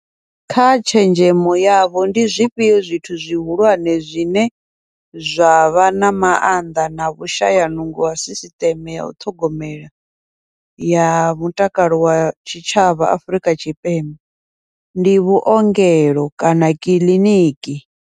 Kha tshenzhemo yavho ndi zwifhio zwithu zwihulwane zwine zwa vha na maanḓa na vhushaya nungo ha sisiṱeme yau ṱhogomela, ya mutakalo wa tshitshavha Afrika Tshipembe, ndi vhuongelo kana kiḽiniki.